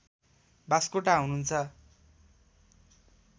बास्कोटा हुनुहुन्छ